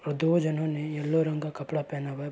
और दो जनों ने येलो रंग का कपड़ा पहना हुआ है।